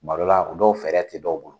Tuma dɔ la, o dɔw fɛɛrɛ tɛ dɔw bolo